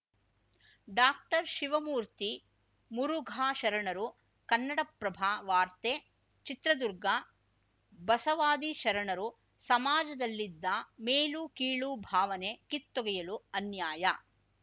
ಡಾಕ್ಟರ್ಶಿವಮೂರ್ತಿ ಮುರುಘಾ ಶರಣರು ಕನ್ನಡಪ್ರಭ ವಾರ್ತೆ ಚಿತ್ರದುರ್ಗ ಬಸವಾದಿ ಶರಣರು ಸಮಾಜದಲ್ಲಿದ್ದ ಮೇಲುಕೀಳು ಭಾವನೆ ಕಿತ್ತೊಗೆಯಲು ಅನ್ಯಾಯ